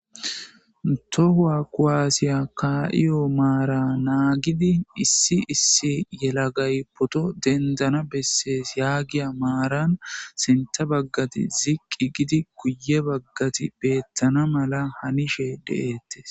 tohuwa koaasiya kaa7iyo maara naagidi issi issi yelagay poto dendana bessees yaagiya maaran sinta baggati ziqqi gidi guye baggati beettana mala hanishe de7ettes